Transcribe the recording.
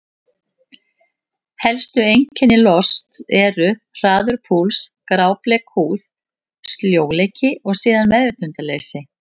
Helstu einkenni losts eru: hraður púls, grábleik húð, sljóleiki og síðan meðvitundarleysi.